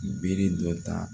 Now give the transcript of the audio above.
Bere dɔ ta